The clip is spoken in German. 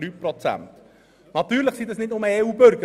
Das sind natürlich nicht nur EU-Bürger.